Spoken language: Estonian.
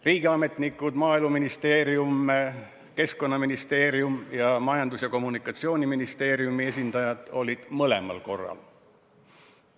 Riigiametnikud olid mõlemal korral.